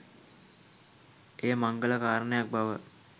එය මංගල කාරණයක් බව